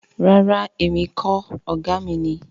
Rara emi kii ṣe ọkan… o jẹ oga mi.